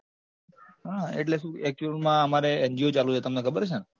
હા એટલે શું actual માં અમારે NGO ચાલુ છે તમને ખબર છે ન